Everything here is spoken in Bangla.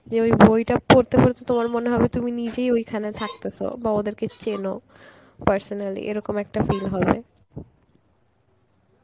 যে ওই বইটা পড়তে বসে তোমার মনে হবে তুমি নিজেই ওইখানে থাকতেসো বা ওদেরকে চেনো personally, এরকম একটা feel হবে,